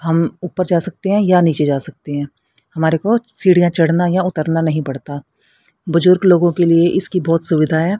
हम ऊपर जा सकते है या नीचे जा सकते है हमारे को सीढ़ियां चढ़ना या उतरना नहीं पड़ता बुजुर्ग लोगों के लिए इसकी बहोत सुविधा है।